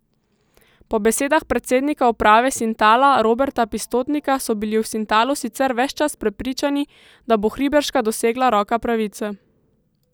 Po besedah predsednika uprave Sintala Roberta Pistotnika so bili v Sintalu sicer ves čas prepričani, da bo Hriberška dosegla roka pravice.